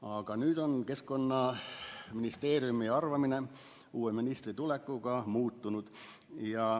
Aga nüüd, uue ministri tulekuga on Keskkonnaministeeriumi arvamine muutunud.